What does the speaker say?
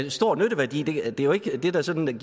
en stor nytteværdi det er jo ikke det der sådan